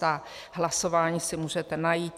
Ta hlasování si můžete najít.